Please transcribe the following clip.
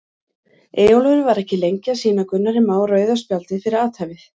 Eyjólfur var ekki lengi að sýna Gunnari Má rauða spjaldið fyrir athæfið.